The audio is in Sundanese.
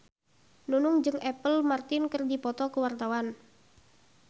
Nunung jeung Apple Martin keur dipoto ku wartawan